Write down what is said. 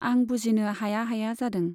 आं बुजिनो हाया हाया जादों।